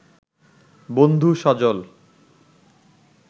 বন্ধু সজল